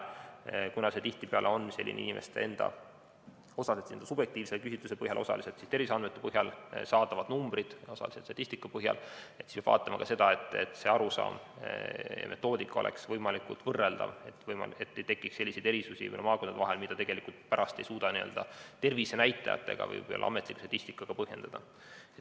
Kuna need on sellised osaliselt inimeste subjektiivse küsitluse põhjal, osaliselt terviseandmete põhjal, osaliselt statistika põhjal saadavad numbrid, siis peab vaatama ka seda, et arusaamad ja metoodikad oleksid võimalikult võrreldavad, et ei tekiks selliseid erisusi maakondade vahel, mida tegelikult pärast ei suuda n‑ö tervisenäitajatega või ametliku statistikaga põhjendada.